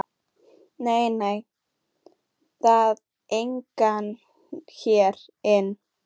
Nei, nei, það er enginn hérna inni.